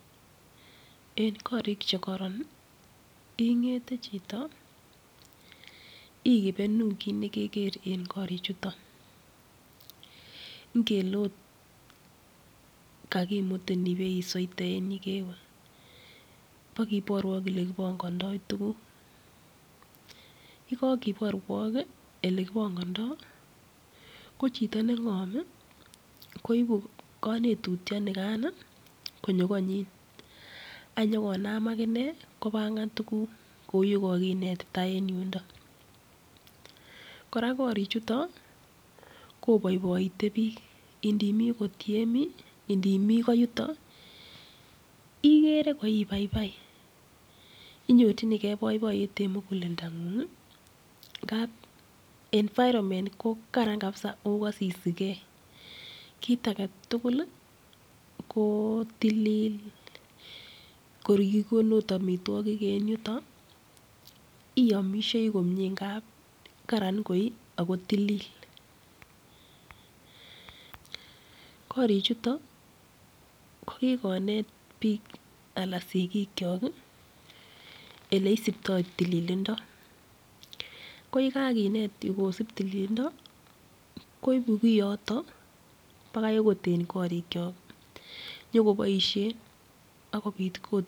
En korik che koron, in'gete chito ikipenu kit ne keger eng korichutok. Ngele okot kakimutin ibe isoite en yekewe, bo kiborwok ole kipongondoi tukuk. Yekakiborwok ole kipongindoi, ko chito ne ng'om, koibu konetutioni konyo koinyi. Anyikonam akine kopangan tukuk kou ole kakinetita en yondo. Kora korichutok, koboiboite biik, indimi akot yemi, yemi ko yutok, igete ko ibaibai. Inyorchinigei boiboindo eng muguleldong'ung. Ngapk envuronment kokaran kabisa ako kasisigei. Kit age tugul, ko tilil, kor keipun akot amitwagik en yutok, iamishei komie. Ngap karan koi ako tilil korichutok ko kikonet biik anan sigik chok, ele isiptoi tililindo, ko yikakinet oleisiptoi tililindo, koipu kiotok mbaka akot eng korik chok, nyiki boishenakobit akot.